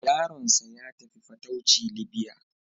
Yaronsa ya tafi fatauci Libya.